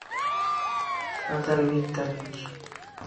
федор викторович